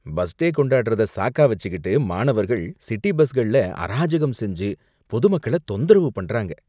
Bus day கொண்டாடறத சாக்கா வைச்சுக்கிட்டு மாணவர்கள் சிட்டி பஸ்கள்ல அராஜகம் செஞ்சு, பொதுமக்களை தொந்தரவு பண்றாங்க.